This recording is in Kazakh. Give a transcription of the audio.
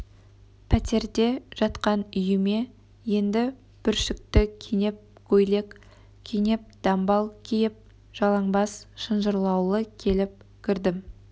пәтерде жатқан үйіме енді бүршікті кенеп көйлек кенеп дамбал киіп жалаңбас шынжырлаулы келіп кірдім